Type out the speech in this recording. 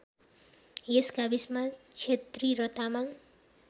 यस गाविसमा क्षेत्री र तामाङ